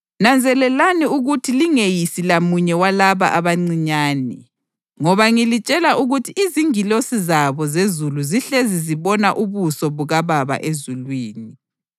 “Nanzelelani ukuthi lingeyisi lamunye walaba abancinyane. Ngoba ngilitshela ukuthi izingilosi zabo zezulu zihlezi zibona ubuso bukaBaba ezulwini. [ 11 INdodana yoMuntu yalanda ukusindisa okwakulahlekile.] + 18.11 Livesi ayikho kwamanye amaBhayibhili esiLungu.